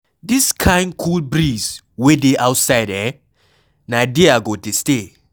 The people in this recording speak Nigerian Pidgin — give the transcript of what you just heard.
The kin cool breeze wey dey outside eh, na there I go dey stay.